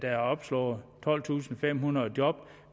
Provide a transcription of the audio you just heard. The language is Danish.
er opslået tolvtusinde og femhundrede job